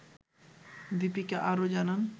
দিপিকা আরও জানান